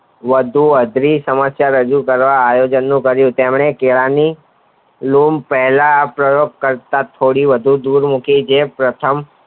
વધુ અઘરી સમસ્યા રજુ કરવા આયો છું જેમને કેળા ની લૂમ પહેલા પ્રયોગ કરતા થોડી વધુ દૂર મૂકી જે પ્રથમ